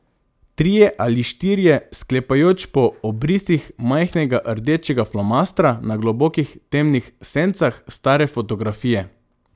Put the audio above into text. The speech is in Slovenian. Trije ali štirje, sklepajoč po obrisih majhnega rdečega flomastra na globokih temnih sencah stare fotografije.